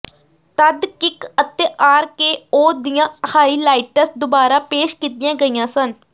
ਤਦ ਕਿੱਕ ਅਤੇ R K O ਦੀਆਂ ਹਾਈਲਾਈਟਸ ਦੁਬਾਰਾ ਪੇਸ਼ ਕੀਤੀਆਂ ਗਈਆਂ ਸਨ